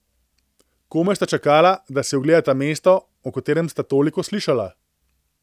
Komaj sta čakala, da si ogledata mesto, o katerem sta toliko slišala.